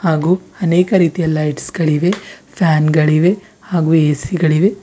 ಹಾಗೂ ಅನೇಕ ರೀತಿಯ ಲೈಟ್ಸ್ ಗಳಿವೆ ಫ್ಯಾನ್ ಗಳಿವೆ ಹಾಗೂ ಎ_ಸಿ ಗಳಿವೆ.